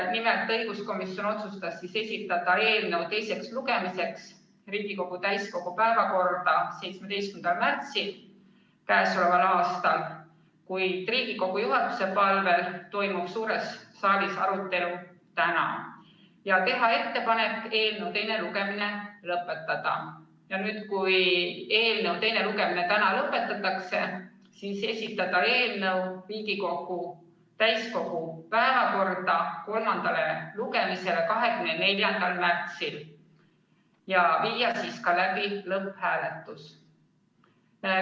Nimelt, õiguskomisjon otsustas esitada eelnõu teiseks lugemiseks Riigikogu täiskogu päevakorda k.a 17. märtsil, kuid Riigikogu juhatuse palvel toimub suures saalis arutelu täna, ja teha ettepanek eelnõu teine lugemine lõpetada; kui eelnõu teine lugemine täna lõpetatakse, siis esitada eelnõu Riigikogu täiskogu päevakorda kolmandale lugemisele 24. märtsil ja viia siis läbi ka lõpphääletus.